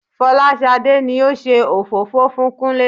Fọláṣadé ni ó ṣe òfófó fún Kúnlé